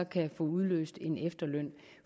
kan udløse en efterløn